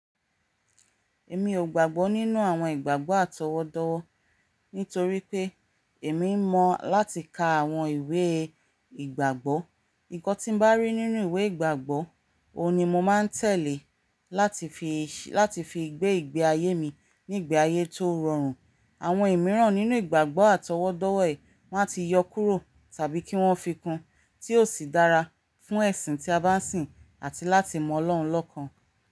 Èmi ò gbàgbọ́ nínú àwọn ìgbàgbọ́ àtọwọ́dọ́wọ́, nítorí pé èmi mọ láti ka àwọn ìwé ìgbàgbọ́. Nǹkan tí mo bá rí nínú ìwé ìgbàgbọ́, òun ni mo máa ń tẹ̀lé láti fi ṣe, láti fi gbé ìgbé ayé mi nígbà ayé tó rọrùn. Àwọn ìmíràn nínú ìgbàgbọ́ àtọwọ́dọ́wọ́ ẹ̀ má ti yọ kúrò tàbí kí wọ́n fi kún tí ò sì dára fún ẹ̀sìn tí a bá ń sìn àti láti mọ Ọlọ́run lọ́ọkàn.